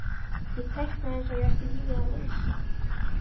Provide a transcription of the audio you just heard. Ég teiknaði eins og ég ætti lífið að leysa.